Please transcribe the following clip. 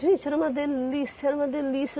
Gente, era uma delícia, era uma delícia.